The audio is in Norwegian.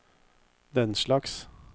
denslags